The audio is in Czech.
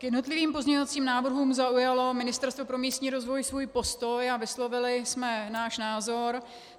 K jednotlivým pozměňovacím návrhům zaujalo Ministerstvo pro místní rozvoj svůj postoj a vyslovili jsme náš názor.